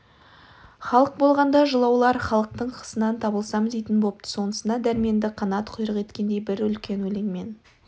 халық болғанда жылаулар халықтың қысынан табылсам дейтін бопты сонысына дәрменді қанат құйрық еткендей бір үлкен өлең мен